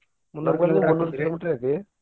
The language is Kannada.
ಮುನ್ನೂರ kilo meter ಐತಿ.